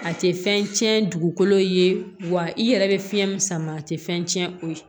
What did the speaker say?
A tɛ fɛn cɛn dugukolo ye wa i yɛrɛ bɛ fiɲɛ min sama a tɛ fɛn tiɲɛ o ye